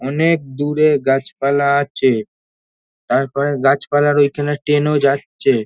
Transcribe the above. অনেক দূরে গাছপালা আছে তারপরে গাছপালার ওইখানে টেন ও যাচ্ছে।